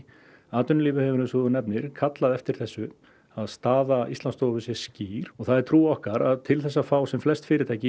atvinnulífið hefur eins og þú nefndir kallað eftir þessu að staða Íslandsstofu sé skýr og það er trú okkar til þess að fá sem flest fyrirtæki